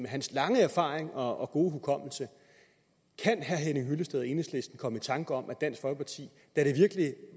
af hans lange erfaring og og gode hukommelse kan herre henning hyllested og enhedslisten komme i tanke om om dansk folkeparti da det virkelig